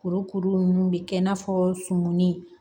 Kurukuru ninnu bɛ kɛ i n'a fɔ sumuni